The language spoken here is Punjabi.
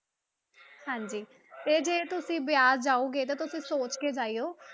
ਹਾਂਜੀ ਇਹ ਜੇ ਤੁਸੀਂ ਬਿਆਸ ਜਾਓਗੇ ਤੇ ਤੁਸੀਂ ਸੋਚ ਕੇ ਜਾਇਓ